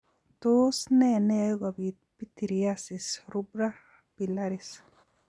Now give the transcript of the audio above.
Tos ne neyoe kobit pityriasis rubra pilaris?